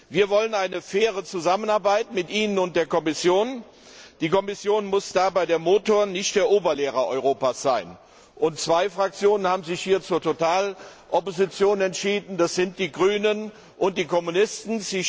Wir wollen eine faire Zusammenarbeit mit Ihnen und der Kommission. Die Kommission muss dabei der Motor, nicht der Oberlehrer Europas sein. Zwei Fraktionen haben sich hier zur Totalopposition entschlossen, das sind die Grünen und die Kommunisten.